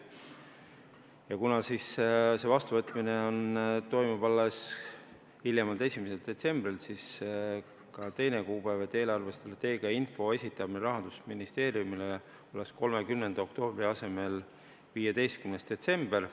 Ja kuna see vastuvõtmine toimub hiljemalt alles 1. detsembril, siis teine kuupäev, eelarvestrateegia info esitamine Rahandusministeeriumile oleks 30. oktoobri asemel 15. detsember.